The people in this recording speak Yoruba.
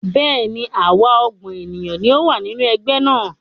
Bẹ́ẹ̀ni, àwa ọgbọ́n ènìyàn ni a wá nínú Ẹgbẹ́ náà